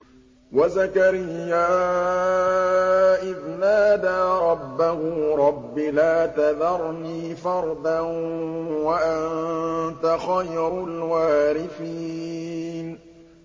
وَزَكَرِيَّا إِذْ نَادَىٰ رَبَّهُ رَبِّ لَا تَذَرْنِي فَرْدًا وَأَنتَ خَيْرُ الْوَارِثِينَ